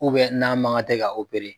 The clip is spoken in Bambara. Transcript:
n'a mankan tɛ ka